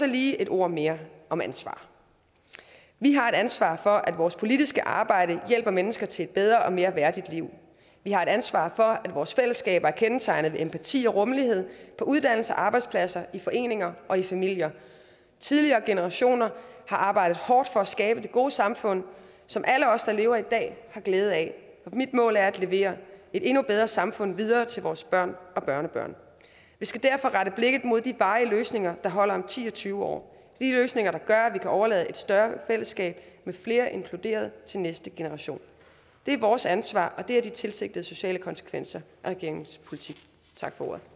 lige et ord mere om ansvar vi har et ansvar for at vores politiske arbejde hjælper mennesker til et bedre og mere værdigt liv vi har et ansvar for at vores fællesskaber er kendetegnet ved empati og rummelighed på uddannelser og arbejdspladser i foreninger og i familier tidligere generationer har arbejdet hårdt for at skabe det gode samfund som alle os der lever i dag har glæde af mit mål er at levere et endnu bedre samfund videre til vores børn og børnebørn vi skal derfor rette blikket mod de varige løsninger der holder om ti og tyve år de løsninger der gør at vi kan overlade et større fællesskab med flere inkluderede til næste generation det er vores ansvar og det er de tilsigtede sociale konsekvenser og regeringens politik tak for ordet og